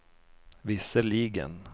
visserligen